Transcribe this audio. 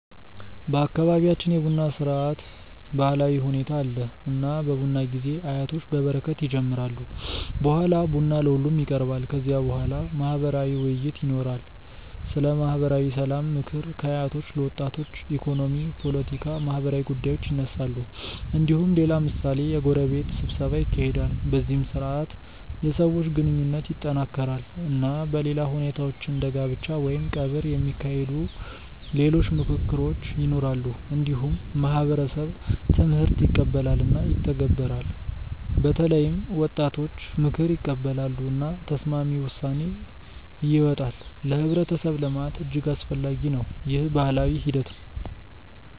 በአካባቢያችን የቡና ስርዓት ባህላዊ ሁኔታ አለ። እና በቡና ጊዜ አያቶች በበረከት ይጀምራሉ። በኋላ ቡና ለሁሉም ይቀርባል። ከዚያ በኋላ ማህበራዊ ውይይት ይኖራል። ስለ ማህበራዊ ሰላም፣ ምክር ከአያቶች ለወጣቶች፣ ኢኮኖሚ፣ ፖለቲካ፣ ማህበራዊ ጉዳዮች ይነሳሉ። እንዲሁም ሌላ ምሳሌ የጎረቤት ስብሰባ ይካሄዳል። በዚህ ስርዓት የሰዎች ግንኙነት ይጠናከራል። እና በሌላ ሁኔታዎች እንደ ጋብቻ ወይም ቀብር የሚካሄዱ ሌሎች ምክክሮች ይኖራሉ። እንዲሁም ማህበረሰብ ትምህርት ይቀበላል እና ይተገበራል። በተለይም ወጣቶች ምክር ይቀበላሉ። እና ተስማሚ ውሳኔ ይወጣል። ለህብረተሰብ ልማት እጅግ አስፈላጊ ነው። ይህ ባህላዊ ሂደት ነው።